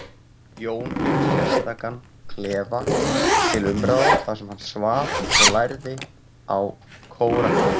Jón fékk sérstakan klefa til umráða þar sem hann svaf og lærði á Kóraninn.